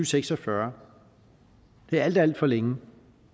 seks og fyrre det er alt alt for længe